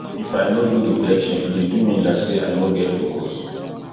if i no do reflection e dey do me like sey i no get focus